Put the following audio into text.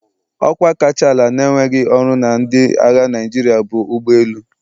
Ọkwa kacha ala na-enweghị ọrụ na ndị agha Naịjirịa bụ ụgbọ elu.